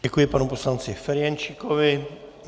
Děkuji panu poslanci Ferjenčíkovi.